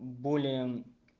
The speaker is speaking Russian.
более